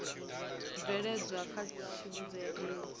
tshibveledzwa tsha tsivhudzo ya aids